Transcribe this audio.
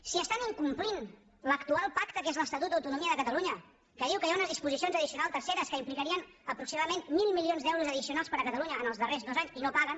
si estan incomplint l’actual pacte que és l’estatut d’autonomia de catalunya que diu que hi ha unes disposicions addicionals terceres que implicarien aproximadament mil milions d’euros addicionals per a catalunya en els darrers dos anys i no paguen